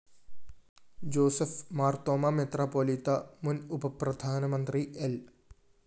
Joseph Marthoma metropolitan മുന്‍ ഉപപ്രധാനമന്ത്രി ൽ